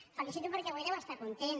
el felicito perquè avui deu estar content